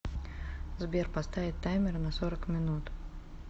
сбер поставить таймер на сорок минут